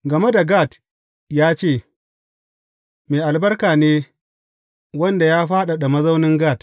Game da Gad ya ce, Mai albarka ne wanda ya fadada mazaunin Gad!